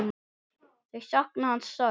Þau sakna hans sárt.